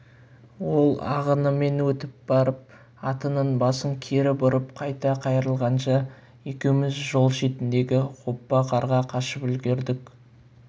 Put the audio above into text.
ол ағынымен өтіп барып атының басын кері бұрып қайта қайырылғанша екеуміз жол шетіндегі оппа қарға қашып үлгердік